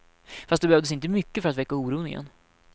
Fast det behövs inte mycket för att väcka oron igen.